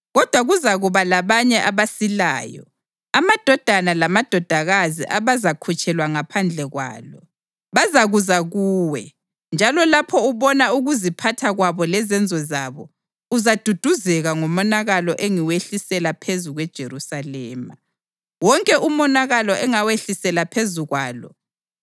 Kodwa kuzakuba labanye abasilayo, amadodana lamadodakazi abazakhutshelwa ngaphandle kwalo. Bazakuza kuwe, njalo lapho ubona ukuziphatha kwabo lezenzo zabo, uzaduduzeka ngomonakalo engiwehlisela phezu kweJerusalema, wonke umonakalo engawehlisela phezu kwalo.